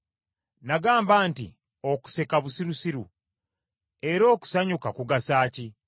Nagamba nti, “Okuseka busirusiru. Era okusanyuka kugasa ki?”